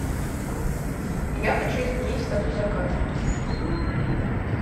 я хочу изменить статус заказа